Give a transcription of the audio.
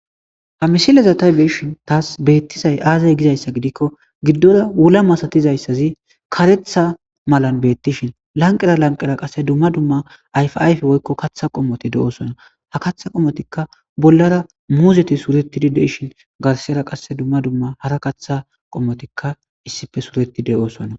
ha misilezatay beeshin taas beettisay aazay gizayssa gidikko giddora wula masatizayssazi karetha malan beettishin lanqera lanqera qasse dumma dumma ayfayf woykko katha qommoti de7oosona ha katha qommotikka bollara muuzeti suretidi deishin garsera qasse dumma dumma hara kaththa qommotikka issife sureti de7oosona